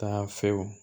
Taa fɛ o